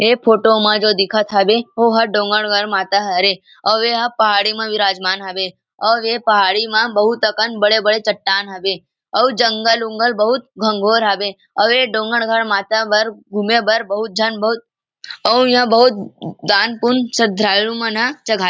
ए photo मा जो दिखत हावे ओ हर डोंगरगढ़ माता हरे ओ यहाँ पहाड़ी में विराजमान हवे औ वे पहाड़ी मा बहुत अकन बड़े -बड़े चट्टान हवे अउ जंगल-उंगल घन्घोर हवे अवे डोंगड़गढ़ माता बर घूमे बर बहुत झन बहुत अउ इहाँ बहुत दान पून श्रद्धालु मन ह --